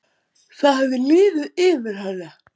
Það hafði liðið yfir hana!